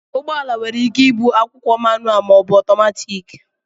ụgbọala nwere ike ịbụ akwụkwo mánụalụ maọbu ọtọmatiki